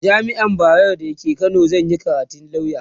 a jamian bayero da ke Kano zanyi karatun lauya